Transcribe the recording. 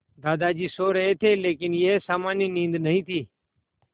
दादाजी सो रहे थे लेकिन यह सामान्य नींद नहीं थी